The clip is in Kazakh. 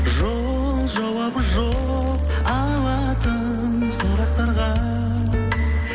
жол жауабы жоқ алатын сұрақтарға